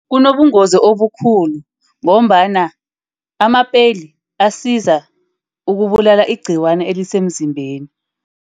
Kunobungozi obukhulu, ngombana ama-peli asiza ukubulala igciwana elisemzimbeni.